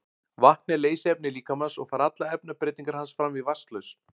Vatn er leysiefni líkamans og fara allar efnabreytingar hans fram í vatnslausn.